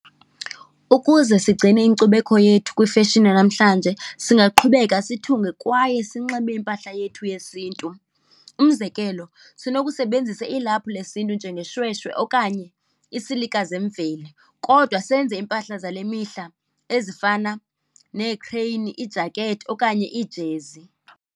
Ukuze sigcine inkcubeko yethu kwifeshini yanamhlanje singaqhubeka sithunge kwaye sinxibe impahla yethu yesiNtu. Umzekelo, sinokusebenzisa ilaphu lesiNtu njengesishweshwe okanye isilika zemveli, kodwa senze impahla zale mihla ezifana neekhreyini, iijakethi okanye iijezi.